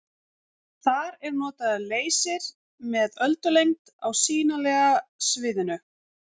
Þar er notaður leysir með öldulengd á sýnilega sviðinu.